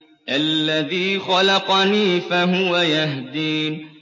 الَّذِي خَلَقَنِي فَهُوَ يَهْدِينِ